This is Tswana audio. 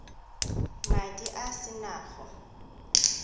madi a se na go